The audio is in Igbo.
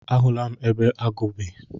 A hụla m ebe agụ ahụ bi.